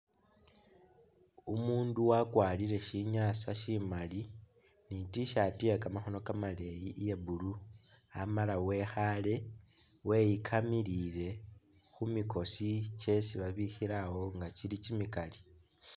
Umundu wakwarile sinyasa simaali I't-shirt yekamakhono kamaleyi iya'blue Amala wekhale weyikamilile khumikosi kyesi babikhilawo kimikaali